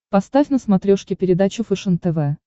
поставь на смотрешке передачу фэшен тв